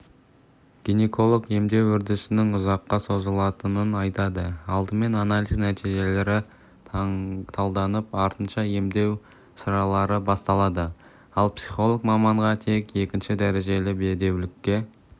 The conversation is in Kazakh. гинеколог емдеу үрдісінің ұзаққа созылатынын айтады алдымен анализ нәтижелері талданып артынша емдеу шаралары басталады ал психолог маманға тек екінші дәрежелі бедеулікке